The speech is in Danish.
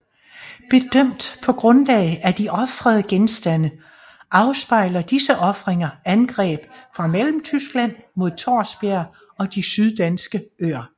Bedømt på grundlag af de ofrede genstande afspejler disse ofringer angreb fra Mellemtyskland mod Thorsbjerg og de syddanske øer